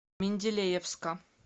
менделеевска